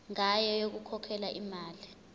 ngayo yokukhokhela imali